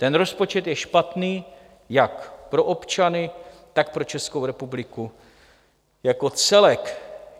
Ten rozpočet je špatný jak pro občany, tak pro Českou republiku jako celek.